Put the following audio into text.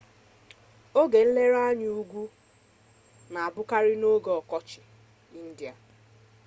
oge nlere anya ugwu na abụkarị n'oge ọkọchị india